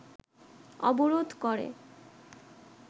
অবরোধ করে